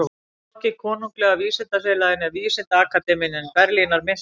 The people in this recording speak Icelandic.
Hvorki Konunglega vísindafélagið né Vísindaakademía Berlínar minntust hans.